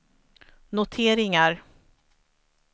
noteringar